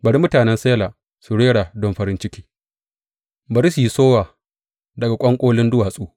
Bari mutanen Sela su rera don farin ciki; bari su yi sowa daga ƙwanƙolin duwatsu.